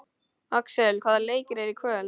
Axel, hvaða leikir eru í kvöld?